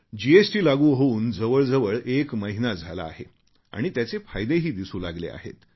GST लागू होऊन जवळजवळ एक महिना झाला आहे आणि त्याचे फायदेही दिसू लागले आहेत